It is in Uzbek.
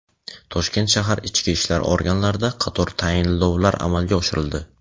Toshkent shahar ichki ishlar organlarida qator tayinlovlar amalga oshirildi.